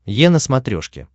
е на смотрешке